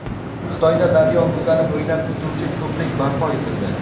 Xitoyda daryo o‘zani bo‘ylab o‘tuvchi ko‘prik barpo etildi.